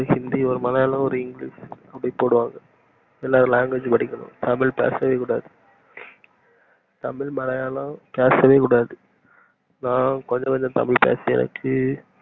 ஹிந்தி ஒரு மலையாளம் english அப்டின்னு போடுவாங்க எல்லாரும் language படிக்கணும் தமிழ் பேசவே கூடாது தமிழ் மலையாளம் பேசவே கூடாது நா கொஞ்சம் கொஞ்சம் தமிழ் பேசியாச்சி